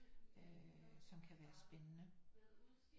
Øh som kan være spændende